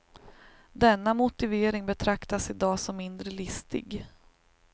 Denna motivering betraktas i dag som mindre listig.